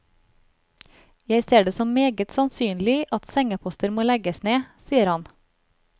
Jeg ser det som meget sannsynlig at sengeposter må legges ned, sier han.